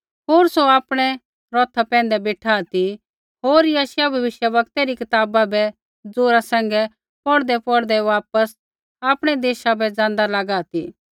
होर सौ आपणै रौथा पैंधै बेठा ती होर यशायाह भविष्यवक्तै री कताबा बै ज़ोरा सैंघै पौढ़दैपौढ़दै वापस आपणै देशा बै ज़ाँदा लागा ती